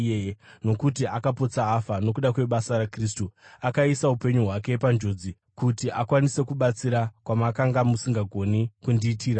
nokuti akapotsa afa nokuda kwebasa raKristu, akaisa upenyu hwake panjodzi kuti akwanise kubatsira kwamakanga musingagoni kundiitira imi.